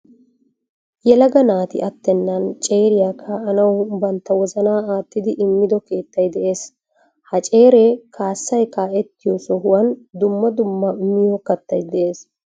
Yelaga naati attenan ceeriyaa kaa"anawu bantta wozanaa aattidi immido keettay de'ees. Ha ceere kaasay kaa"ettiyoo sohuwaan dumma dumma miyoo kattay de'ees.